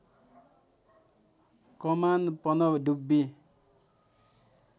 कमान पनडुब्बी